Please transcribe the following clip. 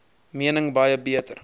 mening baie beter